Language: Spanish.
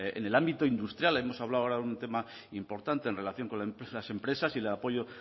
en el ámbito industrial hemos hablado ahora de un tema importante en relación con las empresas y el apoyo